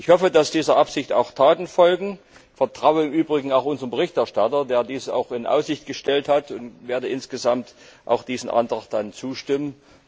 Ich hoffe, dass dieser Absicht auch Taten folgen, vertraue im Übrigen auch unserem Berichterstatter, der dies in Aussicht gestellt hat, und werde insgesamt diesem Antrag zustimmen.